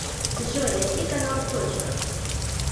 джой найди канал точка